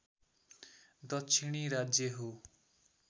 दक्षिणी राज्य हो